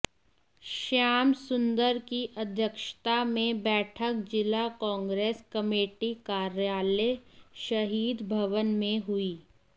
श्याम सुन्दर की अध्यक्षता मे बैठक जिला कांग्रेस कमेटी कार्यालय शहीद भवन मे हुयी